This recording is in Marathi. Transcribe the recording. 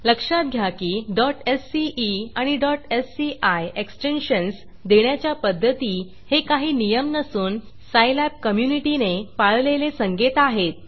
लक्षात घ्या की sce आणि sci एक्सटेन्शन्स देण्याच्या पध्दती हे काही नियम नसून सायलॅब कम्युनिटीने पाळलेले संकेत आहेत